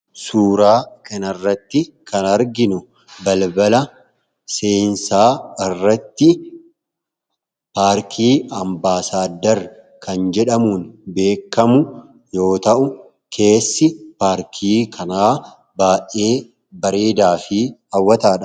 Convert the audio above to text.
Suuraa kanarratti kan arginu balbala seensaa irratt paarkii 'Ambaasaaddar' kan jedhamuun beekamu you ta'u, keessi paarkii kanaa baay'ee bareedaa fi hawwataadha.